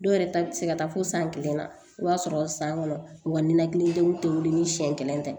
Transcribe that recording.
Dɔw yɛrɛ ta bɛ se ka taa fo san kelen na o y'a sɔrɔ san kɔnɔ u ka ninakilidenw tɛ wuli ni siɲɛ kelen tɛ